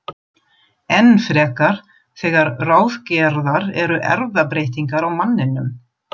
Enn frekar þegar ráðgerðar eru erfðabreytingar á manninum.